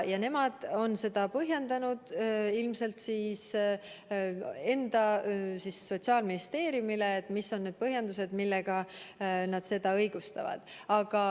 Nemad on seda põhjendanud ilmselt Sotsiaalministeeriumile, et mis on need põhjendused, millega nad seda õigustavad.